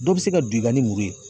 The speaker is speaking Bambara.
Dɔ bɛ se ka don i ka ni muru ye.